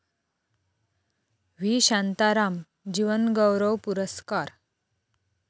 V. Shantaram जीवनगौरव पुरस्कार